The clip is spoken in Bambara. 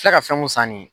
filɛ ka fɛn mun san ne ye